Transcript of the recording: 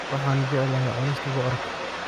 Waxaan jeclaa cunista bocorka.